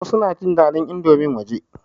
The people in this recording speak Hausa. Wasu na jin daɗin indomin waje.